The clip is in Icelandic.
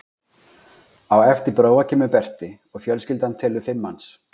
Á eftir Bróa kemur Berti og fjölskyldan telur fimm manns.